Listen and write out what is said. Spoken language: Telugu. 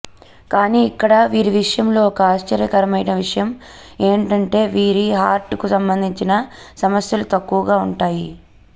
కానీ ఇక్కడ వీరి విషయంలో ఒక ఆశ్చర్యకరమైన విషయం ఏంటంటే వీరి హార్ట్ కు సంబంధించిన సమస్యలు తక్కువగా ఉంటాయి